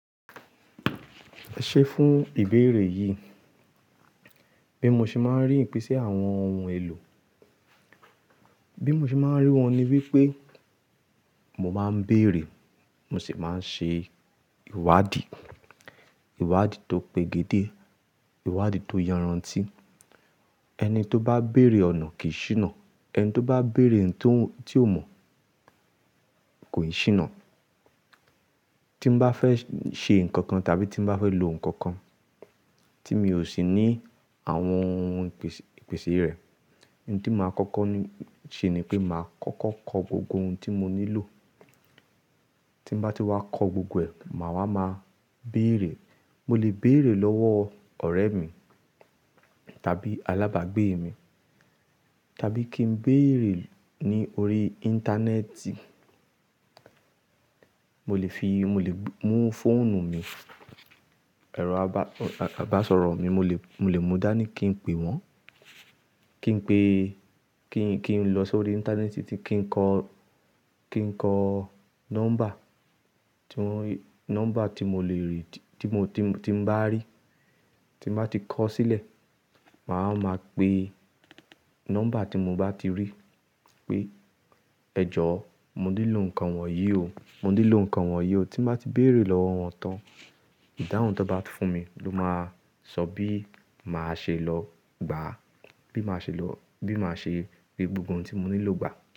Ṣé fún ìbéèrè yìí, bí mo ṣe máa ń rí ìpèsè àwọn ohun èlò? Bí mo ṣe máa ń rí wọn ni wípé mo máa ń béèrè, mo sì máa ń ṣe ìwádìí. Ìwádìí tó pegedé, ìwádìí tó yanranti. Ẹni tó bá béèrè ọ̀nà kìí ṣíná. Ẹni tó bá béèrè ohun tí ó mọ̀ kò ì ṣíná. Tí mo bá fẹ́ ṣe nǹkan kan tàbí tí mo bá fẹ́ lo nǹkan kan tí mi ò sì ní àwọn ohun ipes--ìpèsè rẹ̀, ohun tí màá kọ́kọ́ ṣe ni pé màá kọ́kọ́ kọ gbogbo ohun tí mo nílò. Tí mo bá ti wá kọ gbogbo ẹ̀, màá wá máa béèrè. Mo lè béèrè lọ́wọ́ ọ̀rẹ́ mi tàbí alábàágbé mi, tàbí kí n béèrè ní orí Íńtánẹ́ẹ̀tì. Mo lè fi, mo lè mú fóònù mi, ẹ̀rọ àbá, àbásọ̀rọ̀ mi, mo lè, mo lè mú dá ní kí n pe wọ́n. Kí n pe, kí n, kí n lọ sórí Íńtánẹ́ẹ̀tì tí kí n kọ, kí n kọ nọ́mbà tí wọ́n, nọ́mbà tí mo lè rí, tí mo, tí m'bá rí. Tí m'bá ti kọ sílẹ̀, màá máa pe nọ́mbà tí mo bá ti rí pé "Ẹ̀jọ̀, mo nílò nǹkan wọ̀nyí o. Mo nílò nǹkan wọ̀nyí o." Tí mo bá ti béèrè lọ́wọ́ wọn tán, ìdáhùn tí wọ́n bá fún mi ló máa sọ bí màá ṣe lọ gbà á, bí màá ṣe lọ, bí màá ṣe gbé gbogbo ohun tí mo nílò gbà.